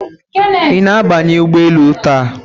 Ị na-abanye ụgbọ elu taa?